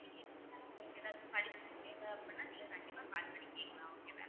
நீங்க இதுக்கு மேல உங்களுக்கு ஏதாவது படிப்புக்கு தேவை அப்படின்னா நீங்க கண்டிப்பா call பண்ணி கேக்கலாம் okay வா